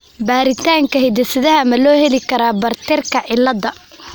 Baaritaanka hidde-sidaha ma loo heli karaa Bartterka cilaada?